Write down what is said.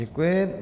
Děkuji.